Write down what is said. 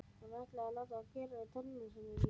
Og hún ætlaði að láta gera við tennurnar í sér.